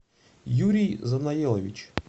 юрий занаелович